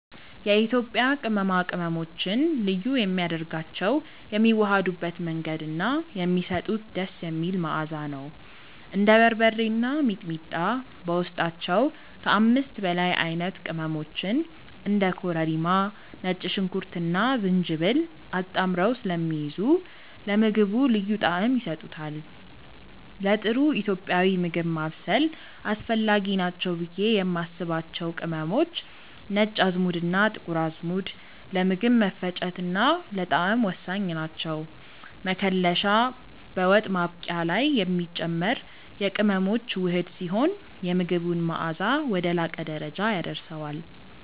የኢትዮጵያ ቅመማ ቅመሞችን ልዩ የሚያደርጋቸው የሚዋሃዱበት መንገድ እና የሚሰጡት ደስ የሚል መዓዛ ነው። እንደ በርበሬ እና ሚጥሚጣ በውስጣቸው ከ5 በላይ አይነት ቅመሞችን (እንደ ኮረሪማ፣ ነጭ ሽንኩርትና ዝንጅብል) አጣምረው ስለሚይዙ ለምግቡ ልዩ ጣዕም ይሰጡታል። ለጥሩ ኢትዮጵያዊ ምግብ ማብሰል አስፈላጊ ናቸው ብዬ የማስባቸው ቅመሞች፦ ነጭ አዝሙድና ጥቁር አዝሙድ፦ ለምግብ መፈጨትና ለጣዕም ወሳኝ ናቸው። መከለሻ፦ በወጥ ማብቂያ ላይ የሚጨመር የቅመሞች ውህድ ሲሆን፣ የምግቡን መዓዛ ወደ ላቀ ደረጃ ያደርሰዋል።